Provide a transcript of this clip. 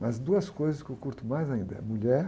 Mas duas coisas que eu curto mais ainda é mulher.